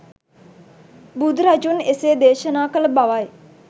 බුදු රජුන් එසේ දේශනා කළ බවයි.